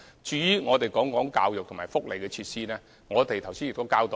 至於教育和福利設施，我們剛才亦已交代。